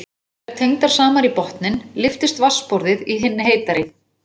Séu þær tengdar saman í botninn lyftist vatnsborðið í hinni heitari.